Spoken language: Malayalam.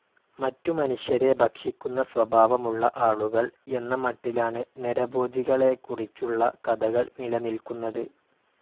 മറ്റു മനുഷ്യരെ ഭക്ഷിക്കുന്ന സ്വഭാവമുള്ള ആളുകൾ എന്ന മട്ടിലാണ് നരഭോജികളെക്കുറിച്ചുള്ള കഥകൾ നിലനിൽക്കുന്നത്.